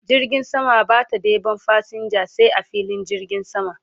Jirgin sama Bata ɗeban fasinja sai a filin jirgin sama